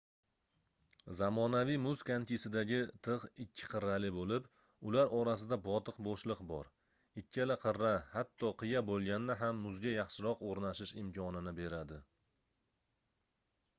zamonaviy muz konkisidagi tigʻ ikki qirrali boʻlib ular orasida botiq boʻshliq bor ikkala qirra hatto qiya boʻlganda ham muzga yaxshiroq oʻrnashish imkonini beradi